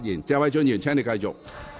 謝偉俊議員，請繼續發言。